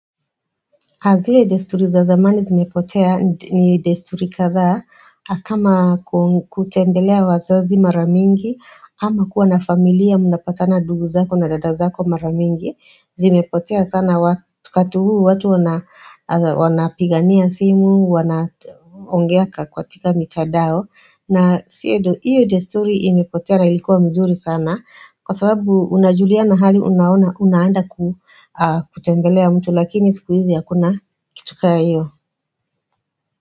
Hazile desturi za zamani zimepotea ni desturi kadhaa kama kutembelea wazazi mara mingi ama kuwa na familia mnapatana dugu zako na dadazako maramingi Zimepotea sana wakati huu watu wanapigania simu wanaongea ka tika mikadao na siedo iyo desturi imepotea na ilikuwa mzuri sana Kwa sababu unajulia na hali unaanda kutembelea mtu Lakini sikuizi hakuna kitu kaa iyo.